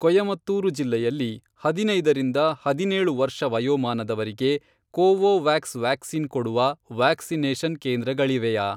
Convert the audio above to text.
ಕೊಯಮತ್ತೂರು ಜಿಲ್ಲೆಯಲ್ಲಿ ಹದಿನೈದರಿಂದ ಹದಿನೇಳು ವರ್ಷ ವಯೋಮಾನದವರಿಗೆ ಕೋವೋವ್ಯಾಕ್ಸ್ ವ್ಯಾಕ್ಸಿನ್ ಕೊಡುವ ವ್ಯಾಕ್ಸಿನೇಷನ್ ಕೇಂದ್ರಗಳಿವೆಯಾ?